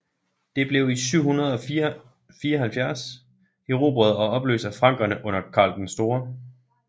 Det blev i 774 erobret og opløst af frankerne under Karl den Store